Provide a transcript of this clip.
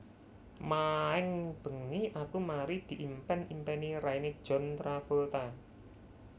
Maeng bengi aku mari diimpen impeni raine John Travolta